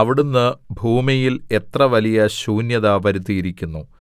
അവിടുന്ന് ഭൂമിയിൽ എത്ര വലിയ ശൂന്യത വരുത്തിയിരിക്കുന്നു